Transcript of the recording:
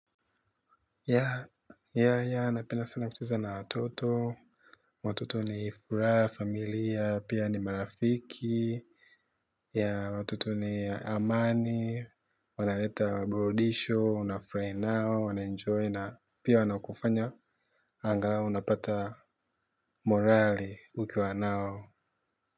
Ya, ya, ya, napienda sana kucheza na watoto, watoto ni furaha, familia, pia ni marafiki, ya watoto ni amani, wanaleta burudisho, unafurahia nao, wanaenjoy na pia wana kufanya, angalau unapata morali ukiwa nao.